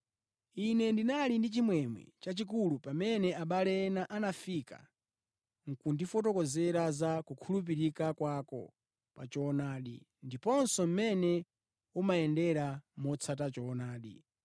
Ine ndinali ndi chimwemwe chachikulu pamene abale ena anafika nʼkundifotokozera za kukhulupirika kwako pa choonadi ndiponso mmene umayendera motsata choonadi.